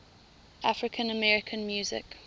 african american music